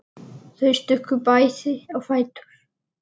Þau stukku bæði á fætur.